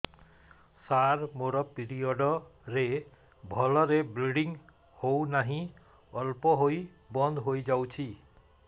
ସାର ମୋର ପିରିଅଡ଼ ରେ ଭଲରେ ବ୍ଲିଡ଼ିଙ୍ଗ ହଉନାହିଁ ଅଳ୍ପ ହୋଇ ବନ୍ଦ ହୋଇଯାଉଛି